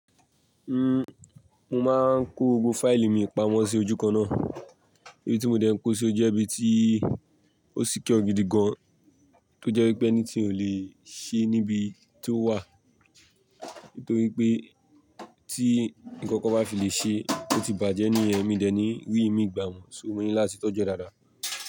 Uhm, mo máa ń kó gbogbo fáìlì mi pamọ́ sí ojúkan náà, ibi tí mo dẹ́ n kó o sí o jẹ́ ibi tí ó secure ọ gidi gan, tó jẹ́ wípé anything ò lè ṣe níbi tí ó wà, torí pé tí ǹkankan bá fi lè ṣe ó ti bàjẹ́ ní yen mí dẹ́ ní rí mí gbà mọ́, so mo ní láti tọ́jú rẹ dáadáa.